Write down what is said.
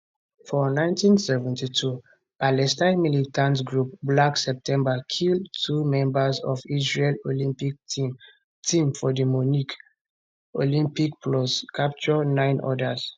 for 1972 palestine militant group black september kill two members of israel olympic team team for di munich olympics plus capture nine odas